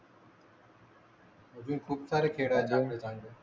अजुन खूप सारे खेळ आहेत